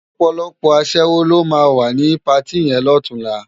Òpòlòpò aṣèwó ló má wá ni párti yèn lòtúnlá